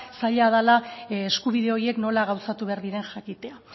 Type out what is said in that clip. zaila dela eskubide horiek nola gauzatu behar diren jakitea